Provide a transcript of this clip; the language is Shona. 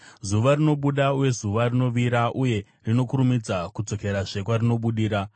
Zuva rinobuda uye zuva rinovira, uye rinokurumidza kudzokerazve kwarinobudira.